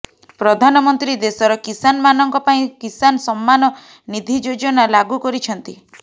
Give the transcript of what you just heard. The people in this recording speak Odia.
ପ୍ରଧାନମନ୍ତ୍ରୀ ଦେଶର କିଷାନ ମାନଙ୍କ ପାଇଁ କିଷାନ ସମ୍ମାନ ନିଧି ଯୋଜନା ଲାଗୁ କରିଛନ୍ତି